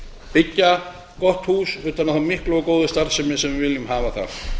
byggja gott hús utan um þá miklu og góðu starfsemi við viljum hafa þar